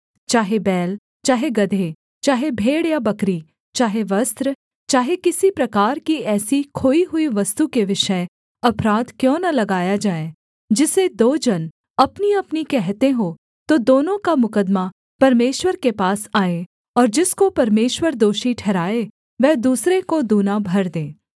चाहे बैल चाहे गदहे चाहे भेड़ या बकरी चाहे वस्त्र चाहे किसी प्रकार की ऐसी खोई हुई वस्तु के विषय अपराध क्यों न लगाया जाए जिसे दो जन अपनीअपनी कहते हों तो दोनों का मुकद्दमा परमेश्वर के पास आए और जिसको परमेश्वर दोषी ठहराए वह दूसरे को दूना भर दे